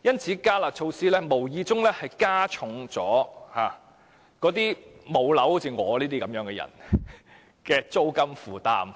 因此，"加辣"措施無意中加重了好像我這類"無樓人士"的租金負擔。